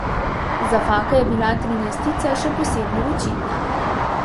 Za Faka je bila trinajstica še posebno očitna.